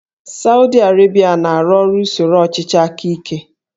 Sawdi Arabia na-arụ ọrụ usoro ọchịchị aka ike